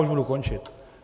Už budu končit.